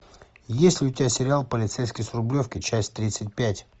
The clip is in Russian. есть ли у тебя сериал полицейский с рублевки часть тридцать пять